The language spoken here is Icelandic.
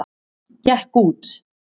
Gekk út.